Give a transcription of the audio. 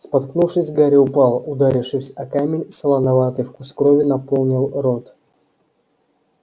споткнувшись гарри упал ударившись о камень солоноватый вкус крови наполнил рот